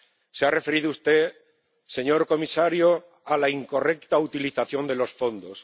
Se ha referido usted, señor comisario, a la incorrecta utilización de los fondos.